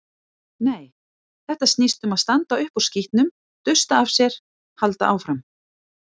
Nei, þetta snýst um að standa upp úr skítnum, dusta af sér, halda áfram.